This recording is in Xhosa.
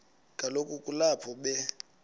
kaloku kulapho be